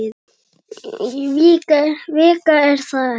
Vika er það ekki?